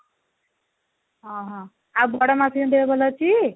ଅଁ ହଁ ଆଉ ବଡ ମାଉସୀ ଙ୍କ ଦେହ ଭଲ ଅଛି ?